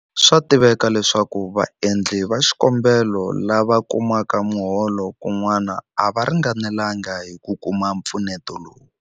Swa tiveka leswaku vaendli va xikombelo lava kumaka miholo kun'wana a va ringanelanga hi ku kuma mpfuneto lowu.